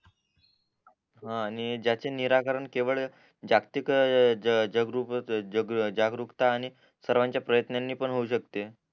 हा आणि ज्याचे निराकरण केवळ जागतिक जागरूकता आणि सर्वांच्या प्रत्नानी पण होऊ शकते